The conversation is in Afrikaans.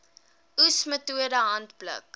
oes metode handpluk